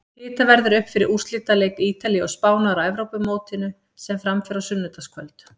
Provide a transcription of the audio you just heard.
Hitað verður upp fyrir úrslitaleik Ítalíu og Spánar á Evrópumótinu sem fram fer á sunnudagskvöld.